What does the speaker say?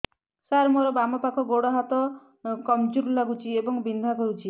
ସାର ମୋର ବାମ ପାଖ ଗୋଡ ହାତ କମଜୁର ଲାଗୁଛି ଏବଂ ବିନ୍ଧା କରୁଛି